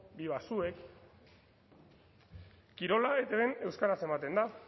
biba zuek kirola etbn euskaraz ematen da